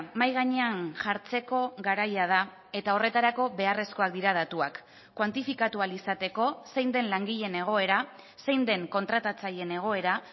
mahai gainean jartzeko garaia da eta horretarako beharrezkoak dira datuak kuantifikatu ahal izateko zein den langileen egoera zein den kontratatzaileen egoera